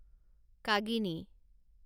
কাগিনী